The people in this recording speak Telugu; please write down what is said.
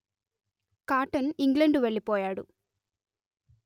కాటన్ ఇంగ్లండు వెళ్ళిపోయాడు